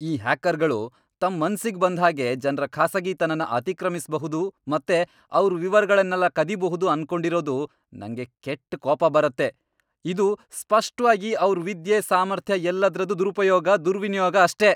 ಈ ಹ್ಯಾಕರ್ಗಳು ತಮ್ ಮನ್ಸಿಗ್ ಬಂದ್ಹಾಗೆ ಜನ್ರ ಖಾಸಗಿತನನ ಅತಿಕ್ರಮಿಸ್ಬಹುದು ಮತ್ತೆ ಅವ್ರ್ ವಿವರಗಳ್ನೆಲ್ಲ ಕದೀಬಹುದು ಅನ್ಕೊಂಡಿರೋದು ನಂಗೆ ಕೆಟ್ಟ್ ಕೋಪ ಬರತ್ತೆ. ಇದು ಸ್ಪಷ್ಟ್ವಾಗಿ ಅವ್ರ್ ವಿದ್ಯೆ, ಸಾಮರ್ಥ್ಯ ಎಲ್ಲದ್ರದ್ದೂ ದುರುಪಯೋಗ, ದುರ್ವಿನಿಯೋಗ ಅಷ್ಟೇ!